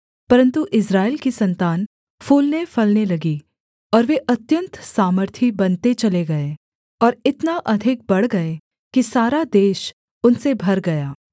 परन्तु इस्राएल की सन्तान फूलनेफलने लगी और वे अत्यन्त सामर्थी बनते चले गए और इतना अधिक बढ़ गए कि सारा देश उनसे भर गया